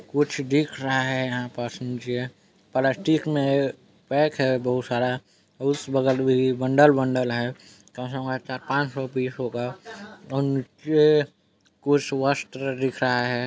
कुछ दिख रहा है यहाँ पास नीचे प्लास्टिक में पैक है बहुत सारा उस बगल भी बंडल-बंडल है कम से कम मार चार-पाँच पीस होगा नीचे कुछ वस्त्र दिख रहा है।